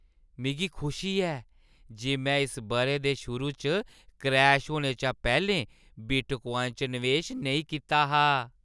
मिगी खुशी ऐ जे में इस बʼरे दे शुरू च क्रैश होने शा पैह्‌लें बिटक्वाइन च नवेश नेईं कीता हा।